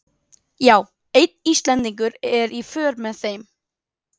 Já, einn Íslendingur er í för með þeim.